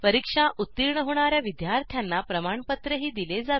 परीक्षा उत्तीर्ण होणा या विद्यार्थ्यांना प्रमाणपत्रही दिले जाते